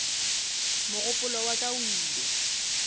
mogopolo wa ka o ile